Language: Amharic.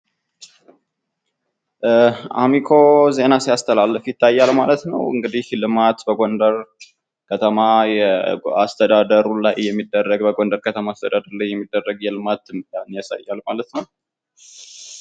አሚኮ ዜና ሲያስተላልፍ ይታያል ማለት ነው። ልማት በጎደር ከተማ አሰተዳደር ላይ የሚደረግ የልባት ያሳያል ማለት ነው።